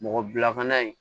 Mɔgɔ bila fana